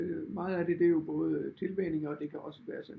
Øh meget af det det er jo både tilvænning og det kan også være sådan